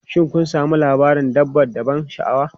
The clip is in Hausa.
Shin kun sami labarin dabba da ban sha'awa?